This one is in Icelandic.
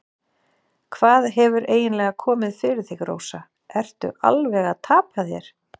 Hvað hefur eiginlega komið fyrir þig, Rósa, ertu alveg að tapa þér?